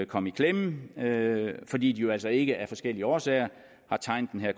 komme i klemme fordi de jo altså ikke af forskellige årsager har tegnet den her